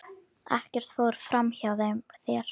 Ekkert fór fram hjá þér.